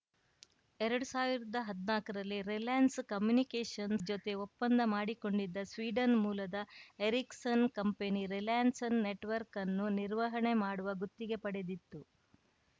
ಎರಡ್ ಸಾವಿರ್ದಾ ಹದ್ನಾಕರಲ್ಲಿ ರಿಲಯನ್ಸ್‌ ಕಮ್ಯುನಿಕೇಷನ್ ನ ಜೊತೆ ಒಪ್ಪಂದ ಮಾಡಿಕೊಂಡಿದ್ದ ಸ್ವೀಡನ್‌ ಮೂಲದ ಎರಿಕ್ಸನ್‌ ಕಂಪನಿ ರಿಲಯನ್ಸ್‌ನ ನೆಟವರ್ಕ್ ಅನ್ನು ನಿರ್ವಹಣೆ ಮಾಡುವ ಗುತ್ತಿಗೆ ಪಡೆದಿತ್ತು